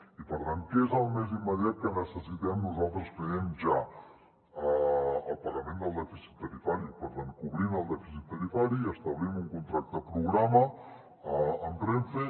i per tant què és el més immediat que necessitem nosaltres creiem ja el pagament del dèficit tarifari per tant cobrim el dèficit tarifari i establim un contracte programa amb renfe